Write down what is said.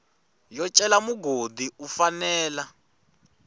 yo cela mugodi u fanela